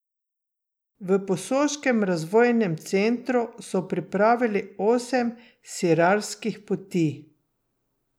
V Posoškem razvojnem centru so pripravili osem sirarskih poti.